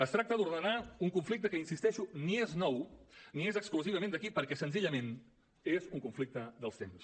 es tracta d’ordenar un conflicte que hi insisteixo ni és nou ni és exclusivament d’aquí perquè senzillament és un conflicte dels temps